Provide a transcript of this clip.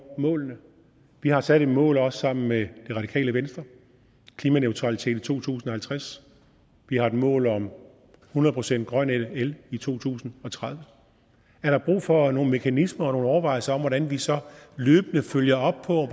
målene vi har sat et mål også sammen med det radikale venstre klimaneutralitet i to tusind og halvtreds vi har et mål om hundrede procent grøn el i to tusind og tredive er der brug for nogle mekanismer og nogle overvejelser om hvordan vi så løbende følger op på